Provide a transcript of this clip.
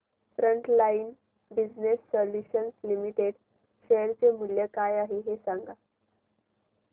frontline business solutions limited share चे मूल्य काय आहे हे सांगा